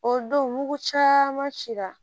O don nugu caman cira